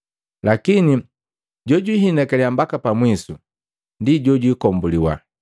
Lakini jojwihinakaliya mbaka pamwisu ndi jojikombuliwa.